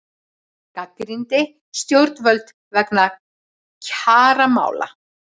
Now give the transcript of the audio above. Gagnrýndi stjórnvöld vegna kjaramála